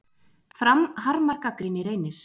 Fram harmar gagnrýni Reynis